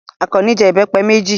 Àkànní jẹ ìbẹ́pẹ méjì.